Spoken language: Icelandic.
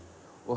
og